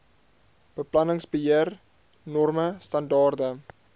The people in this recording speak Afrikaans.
beplanningsbeheer norme standaarde